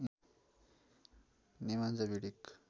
Nemanja Vidic